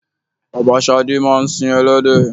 Bàbá shade máa ń sin elédè.